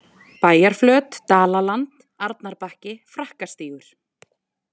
Bæjarflöt, Dalaland, Arnarbakki, Frakkastígur